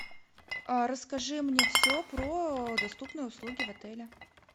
расскажи мне все про доступные услуги в отеле